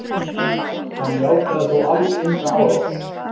Hann játaði þó alls enga árás